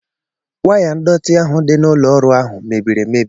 Waya ndọtị ahụ dị n'ụlọ ọrụ ahụ mebiri emebi.